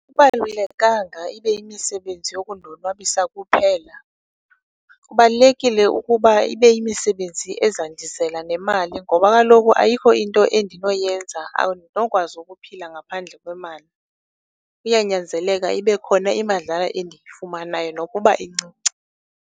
ibe yimisebenzi yokundonwabisa kuphela. Kubalulekile ukuba ibe yimisebenzi ezandizela nemali ngoba kaloku ayikho into endinoyenza, andinokwazi ukuphila ngaphandle kwemali. Kuyanyanzeleka ibe khona imadlana endiyifumanayo nokuba incinci.